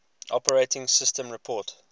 operating systems report